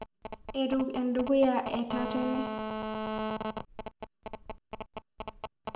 Eruk edukuya etatene.